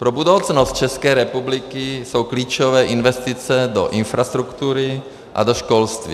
Pro budoucnost České republiky jsou klíčové investice do infrastruktury a do školství.